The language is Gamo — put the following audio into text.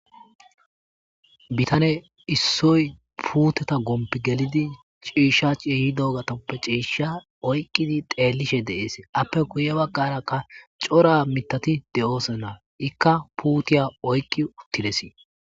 Bitaney issoy puuteta gompan gelidi ciisha ciiyidogetappe ciisha oykidi zeelishe de'etes.ape guye bagara c'ora miiththati doosona. Ika puutiya oyki uttidesi.